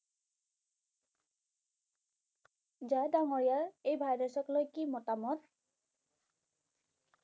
ঝা ডাঙৰীয়াৰ এই virus ক লৈ কি মতামত?